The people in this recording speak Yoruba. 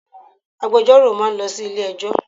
Àwọn agbejọ́rò máa lọ sí ilé ẹjọ́.